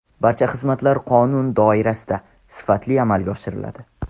Barcha xizmatlar qonun doirasida, sifatli amalga oshiriladi.